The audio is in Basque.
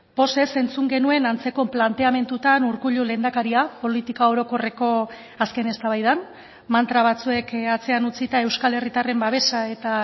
pozez entzun genuen antzeko planteamendutan urkullu lehendakaria politika orokorreko azken eztabaidan mantra batzuek atzean utzita euskal herritarren babesa eta